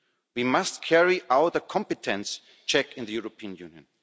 We must carry out a competence check in the European Union.